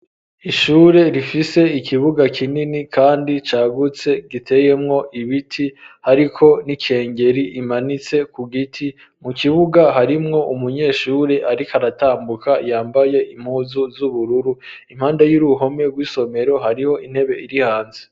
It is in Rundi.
Ishure rifise ikibuga kinini kandi cagutse giteyemwo ibiti ariko n'ikengeri imanitse ku giti mu kibuga harimwo umunyeshuri ariko aratambuka yambaye impuzu z'ubururu, impande y'uruhome rw'isomero hariho intebe iri hanze.